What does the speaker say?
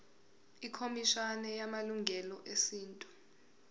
ikhomishana yamalungelo esintu